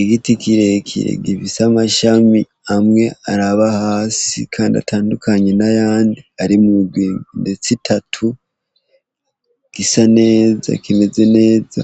Igiti kire kire gifise amashami amwe araba hasi kandi atandukanye ari mu migwi ndetse itatu kandi gisa kimeze neza,